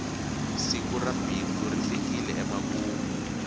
siku ra bindzu ri fikile emakumu